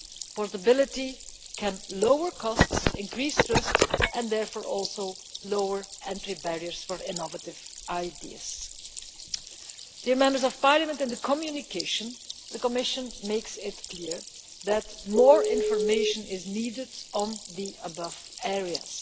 Portability can lower costs and increase trust and therefore also lower entry barriers for innovative ideas. In the communication, the Commission makes it clear that more information is needed on the above areas.